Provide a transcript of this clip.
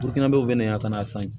yan ka n'a san yen